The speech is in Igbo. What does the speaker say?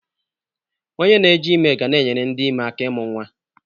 Onye na-eji ime ga na-enyere ndị ime aka ịmụ nwa.